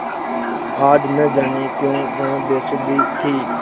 आज न जाने क्यों वह बेसुध थी